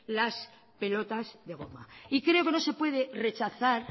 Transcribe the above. las pelotas de goma y creo que no se puede rechazar